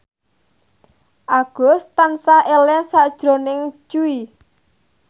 Agus tansah eling sakjroning Jui